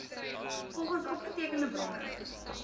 volgens opgetekende bronne